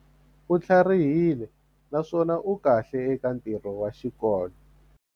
U tlharihile naswona u kahle eka ntirho wa xikolo.